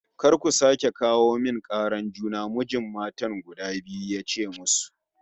"Kar ku sake kawo min karar juna!" Mijin matan guda biyu ya ce musu